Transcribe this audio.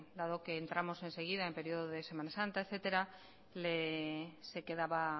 dado que entramos enseguida en periodo de semana santa etcétera se quedaba